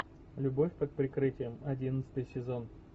любовь под прикрытием одиннадцатый сезон